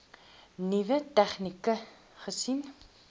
nuwe tegnieke gesien